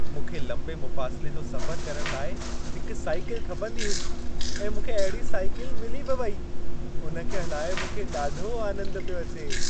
मूंखे लंबे मुफ़ासिले जो सफ़र करण लाइ हिक साइकिल खपंदी हुई ऐं मूंखे अहिड़ी साइकिल मिली बि वई। उन खे हलाए मूंखे ॾाढो आनंद पियो अचे।